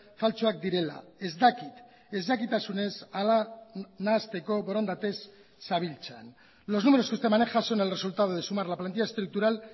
faltsuak direla ez dakit ezjakitasunez hala nahasteko borondatez zabiltzan los números que usted maneja son el resultado de sumar la plantilla estructural